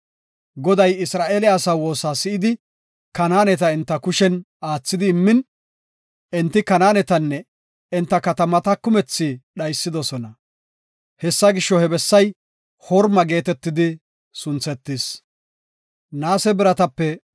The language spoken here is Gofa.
Goday Isra7eele asaa woosa si7idi, Kanaaneta enta kushen aathidi immin, enti Kanaanetanne enta katamata kumethi dhaysidosona. Hessa gisho, he bessay Horma geetetidi sunthetis.